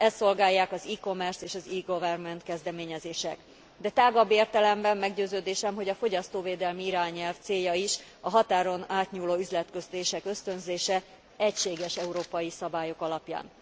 Ezt szolgálják az e commerce és az e goverment kezdeményezések, de tágabb értelemben meggyőződésem, hogy a fogyasztóvédelmi irányelv célja is a határon átnyúló üzletkötések ösztönzése egységes európai szabályok alapján.